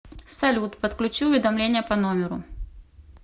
салют подключи уведомления по номеру